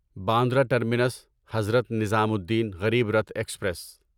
Bandra terminus Hazrat Nizamuddin Garib Rath express